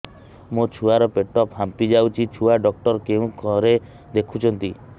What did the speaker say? ମୋ ଛୁଆ ର ପେଟ ଫାମ୍ପି ଯାଉଛି ଛୁଆ ଡକ୍ଟର କେଉଁ ଘରେ ଦେଖୁ ଛନ୍ତି